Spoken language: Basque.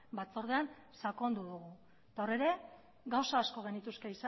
batzordean sakondu dugu eta hor ere gauza asko genituzke